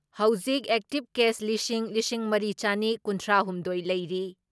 ꯍꯧꯖꯤꯛ active case ꯂꯤꯁꯤꯡ ꯂꯤꯁꯤꯡ ꯃꯔꯤ ꯆꯅꯤ ꯀꯨꯟꯊ꯭ꯔꯥ ꯍꯨꯝꯗꯣꯏ ꯂꯩꯔꯤ ꯫